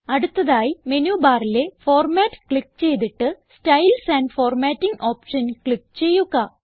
അടുത്തതായി മെനുബാറിലെ format click ചെയ്തിട്ട് styles and formatting option click ചെയ്യുക